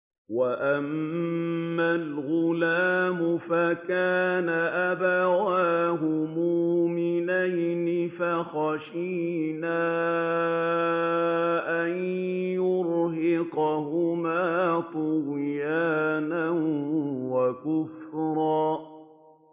وَأَمَّا الْغُلَامُ فَكَانَ أَبَوَاهُ مُؤْمِنَيْنِ فَخَشِينَا أَن يُرْهِقَهُمَا طُغْيَانًا وَكُفْرًا